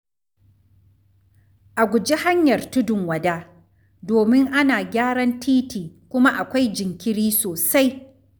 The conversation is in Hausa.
A guji hanyar Tudun Wada, domin ana gyaran titi kuma akwai jinkiri sosai.